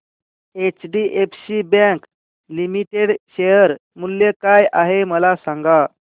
HDFC bank limited share मूल्य काय आहे मला सांगा